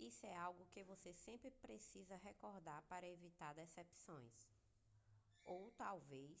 isso é algo que você sempre precisa recordar para evitar decepções ou talvez